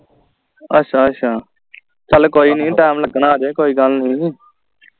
ਅੱਛਾ ਅੱਛਾ ਚਲ ਕੋਈ ਨੀ time ਲਗਣਾ ਹਜੇ ਕੋਈ ਗੱਲ ਨੀ